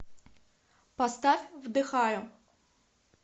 поставь вдыхаю